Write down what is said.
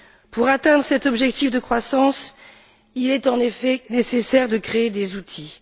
Pour atteindre cet objectif de croissance, il est en effet nécessaire de créer des outils.